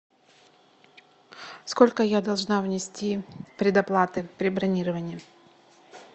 сколько я должна внести предоплаты при бронировании